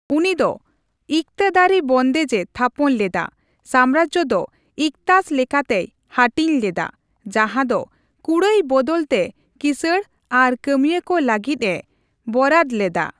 ᱩᱱᱤ ᱫᱚ ᱤᱠᱛᱟᱫᱟᱹᱨᱤ ᱵᱚᱱᱫᱮᱡᱽ ᱮ ᱛᱷᱟᱯᱚᱱ ᱞᱮᱫᱟ ᱥᱟᱢᱨᱟᱡᱽᱡᱚ ᱫᱚ ᱤᱠᱛᱟᱥ ᱞᱮᱠᱟᱛᱮᱭ ᱦᱟᱹᱴᱤᱧ ᱞᱮᱫᱟ, ᱡᱟᱦᱟᱸ ᱫᱚ ᱠᱩᱲᱟᱹᱭ ᱵᱚᱫᱚᱞ ᱛᱮ ᱠᱤᱥᱟᱬ ᱟᱨ ᱠᱟᱹᱢᱤᱭᱟᱹ ᱠᱚ ᱞᱟᱜᱤᱫ ᱮ ᱵᱚᱨᱟᱫᱽ ᱞᱮᱫᱟ ᱾